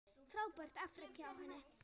Frábært afrek hjá henni.